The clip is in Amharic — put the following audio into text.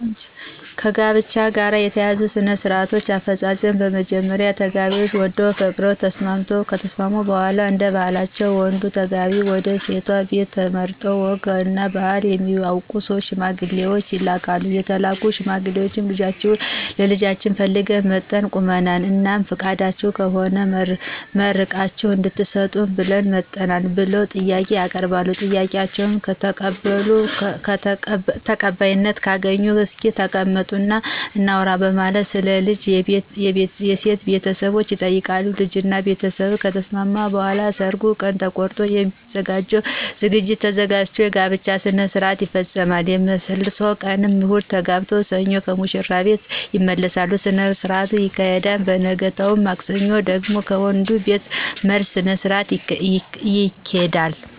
ከጋብቻ ጋር የተያያዙ ሥነ -ስርአቶች አፈጻጸም በመጀመሪያ ተጋቢዎች ወደው ፈቅደው ከተስማሙ በሗላ እደባህላችን ወንዱ ተጋቢ ወደሴቷ ቤት የተመረጡ ወግ እና ባህል የሚያውቁ 3 ሽማግሌዎችን ይልካሉ የተላኩት ሽማግሌዎች ልጃችሁን ለልጃችን ፈልገን መጠን ቁመናል? እናም ፍቃዳችሁ ከሆነ መርቃችሁ እድትሰጡን ብለን መጠናል ብለው ጥያቄ ያቀርባሉ? ጥያቄአቸው ተቀባይነት ካገኘ እስኪ ተቀመጡ እና እናውራ በማለት ስለ ልጅ የሴት ቤተሰቦች ይጠይቃሉ ? በልጅ እና በቤተስብ ከተስማሙ በኃላ የሰርጉ ቀን ተቆርጦ የሚዘጋጀው ዝግጅት ተዘጋጅቶ የጋብቻቸውን ስርአት ይፈጾማሉ። የመልስ ቀን እሁድ የተጋቡትን ሰኞ ከሙሽሪት ቤት የመልስ ስነስረአት ይካሄድና በነገታው ማክሰኞ ደግሞ ከወንዱቤት የመልስ ስነስርአት ይካሄዳል።